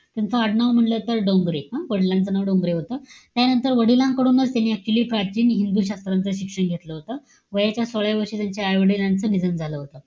त्यांचं आडनाव म्हणलं तर, डोंगरे. हं? वडिलांचं नाव डोंगरे होतं. त्यानंतर वडिलांकडूनच त्यांनी आणि हिंदू शास्त्राचं शिक्षण घेतलं होतं. वयाच्या सोळाव्या वर्षी त्यांच्या, आई-वडिलांचं निधन झालं होतं.